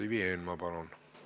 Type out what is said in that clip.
Ivi Eenmaa, palun!